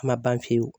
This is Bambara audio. A ma ban pewu